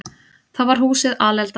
Þá var húsið alelda.